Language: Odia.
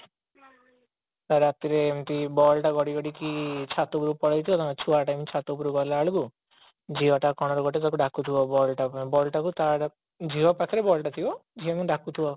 ତ ରାତିରେ ଏମିତି ball ଟା ଗଡିଗଡିକି ଛାତ ଉପରକୁ ପଳେଇଥିବ ଛୁଆ ଟା ଏମିତି ଛାତ ଉପତକୁ ଗଲା ବେଳକୁ ଝିଅଟା କଣ ରୁ ଗୋଟେ ଡାକୁ ଥିବ ball ଟାକୁ ଝିଅ ପାଖରେ ballଟା ଥିବ ଝିଅଟା ଏମିତି ଡାକୁଥିବ